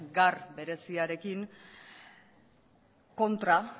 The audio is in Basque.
gar bereziarekin kontra